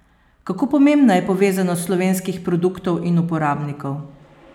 Kako pomembna je povezanost slovenskih produktov in uporabnikov?